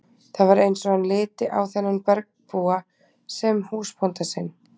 Það var eins og hann liti á þennan bergbúa sem húsbónda sinn.